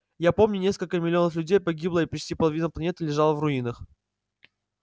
я помню несколько миллионов людей погибло и почти половина планеты лежала в руинах